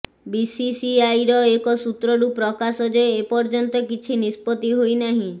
ବିସିସିଆଇର ଏକ ସୂତ୍ରରୁ ପ୍ରକାଶ ଯେ ଏପର୍ଯ୍ୟନ୍ତ କିଛି ନିଷ୍ପତ୍ତି ହୋଇନାହିଁ